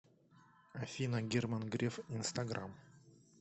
афина герман греф инстаграм